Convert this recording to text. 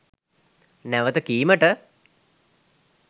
නැවත කීමට